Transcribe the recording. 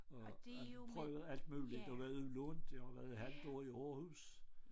Og og prøvet alt muligt og været lånt jeg har jo været et halvt år i Aarhus